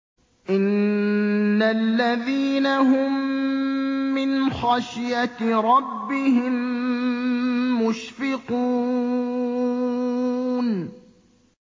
إِنَّ الَّذِينَ هُم مِّنْ خَشْيَةِ رَبِّهِم مُّشْفِقُونَ